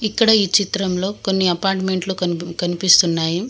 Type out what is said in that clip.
ఇక్కడ ఈ చిత్రంలో కొన్ని అపార్ట్మెంట్లు కన్ కనిపిస్తున్నాయి.